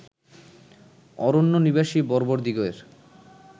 অরণ্যনিবাসী বর্বরদিগের